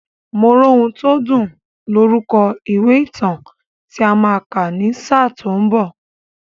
Moróhuntódùn lorúkọ ìwé ìtàn tí a máa kà ní sáà tó ń bọ̀.